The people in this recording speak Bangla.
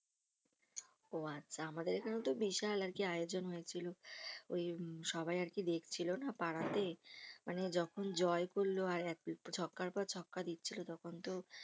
ও আচ্ছা আমাদের এখানেওতো বিশাল আরকি আয়োজন হয়েছিল ওই হম সবাই আরকি দেখছিলো না পাড়াতে মানে যখন জয় করলো আর ছক্কার পর ছক্কা দিচ্ছিলো তখনতো